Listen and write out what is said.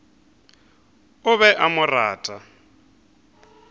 o be a mo rata